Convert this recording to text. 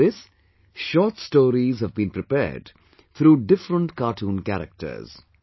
In this, short stories have been prepared through different cartoon characters